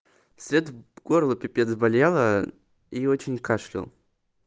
вслед горло пипец болело и очень кашлял